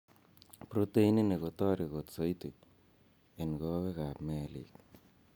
Protein ini kotareti kot soiti en kowek ap melik.